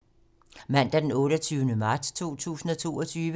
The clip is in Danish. Mandag d. 28. marts 2022